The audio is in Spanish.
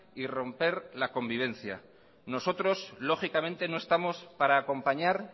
y romper la convivencia nosotros lógicamente no estamos para acompañar